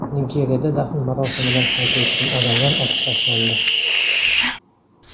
Nigeriyada dafn marosimidan qaytayotgan odamlar otib tashlandi.